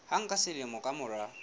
hang ka selemo ka mora